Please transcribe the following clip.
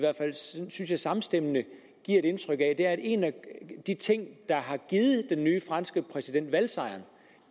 samstemmende giver indtryk af at en af de ting der har givet den nye franske præsident valgsejren